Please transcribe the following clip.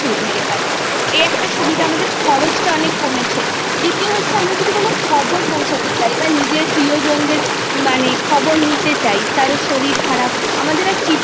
কিন্তু বর্তমানে সেই ব্যবস্থাটা অনেকরকম ভাবেই পরিবর্তন হয়েছে সে ব্যবস্থাটা Change হয়ে এখন Pass Fail উঠেই গেছে এখন বয়স অনুযায়ী তাদের কোন Class হবে সেটা